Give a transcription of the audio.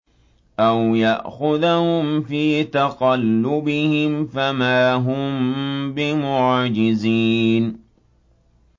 أَوْ يَأْخُذَهُمْ فِي تَقَلُّبِهِمْ فَمَا هُم بِمُعْجِزِينَ